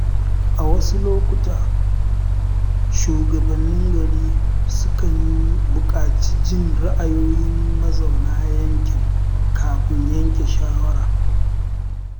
A wasu lokuta, shugabannin gari sukan bukaci jin ra’ayoyin mazauna yankin kafin yanke shawara.